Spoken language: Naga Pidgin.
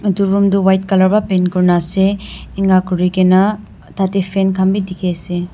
itu room tu white color pra paint kurina ase inigha kurigena tateh fan khan bi dikhi ase.